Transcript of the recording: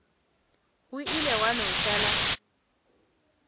go ile gwa no šala